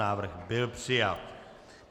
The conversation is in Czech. Návrh byl přijat.